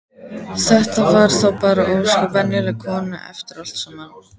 Þetta var þá bara ósköp venjuleg kona eftir allt saman.